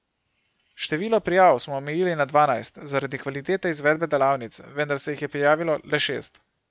Število prijav smo omejili na dvanajst zaradi kvalitete izvedbe delavnic, vendar se jih je prijavilo le šest.